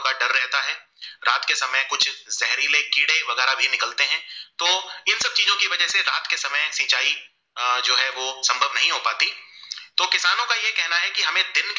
ज़हेरिले कीड़े वगेरे भी निकलते है तो ये सब चीजों की वजह से रात के समय सिचाई जो है संभव नही हो पाती तो किसानो का ये कहेना की हमे दिन के